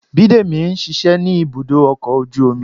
bidemi ń ṣiṣẹ ni ibudo ọkọ ojú omí.